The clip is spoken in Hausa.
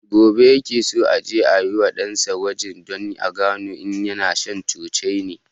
Gobe ya ke so aje a wa ɗan sa gwaji don a gano in yana shan cocaine